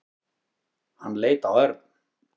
Hann leit á Örn.